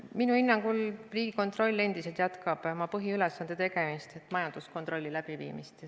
Minu hinnangul Riigikontroll endiselt jätkab oma põhiülesande täitmist ehk majanduskontrolli läbiviimist.